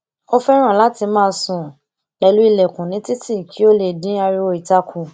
o fẹràn lati má sùn pẹlu ìlèkùn ní títì kí o lè dín ariwo ìta kù